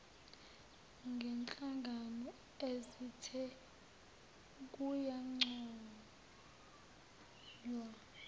ngenhlangano ethize kuyancoywa